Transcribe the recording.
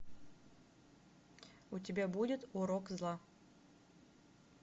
у тебя будет урок зла